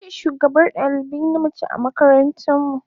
Ni ce shugabar dalibai na mace a makaranta mu.